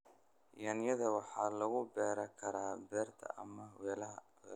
Yaanyada waxaa lagu beeri karaa beerta ama weelasha.